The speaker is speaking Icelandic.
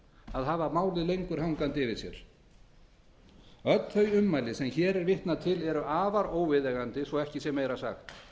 að hafa málið lengur hangandi yfir sér öll þau ummæli sem hér er vitnað til eru afar óviðeigandi svo ekki sé meira sagt